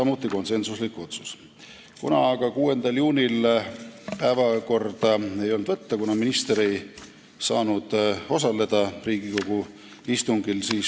6. juunil ei olnud aga võimalik eelnõu päevakorda võtta, kuna minister ei saanud Riigikogu istungil osaleda.